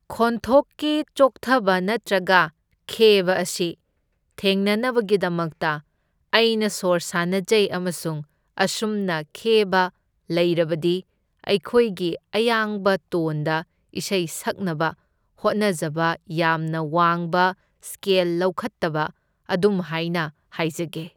ꯈꯣꯟꯊꯣꯛꯀꯤ ꯆꯣꯛꯊꯕ ꯅꯠꯇ꯭ꯔꯒ ꯈꯦꯕ ꯑꯁꯤ ꯊꯦꯡꯅꯅꯕꯒꯤꯗꯃꯛꯇ ꯑꯩꯅ ꯁꯣꯔ ꯁꯥꯟꯅꯖꯩ ꯑꯃꯁꯨꯡ ꯑꯁꯨꯝꯅ ꯈꯦꯕ ꯂꯩꯔꯕꯗꯤ ꯑꯩꯈꯣꯏꯒꯤ ꯑꯌꯥꯡꯕ ꯇꯣꯟꯗ ꯏꯁꯩ ꯁꯛꯅꯕ ꯍꯣꯠꯅꯖꯕ, ꯌꯥꯝꯅ ꯋꯥꯡꯕ ꯁ꯭ꯀꯦꯜ ꯂꯧꯈꯠꯇꯕ ꯑꯗꯨꯝꯍꯥꯢꯅ ꯍꯥꯏꯖꯒꯦ꯫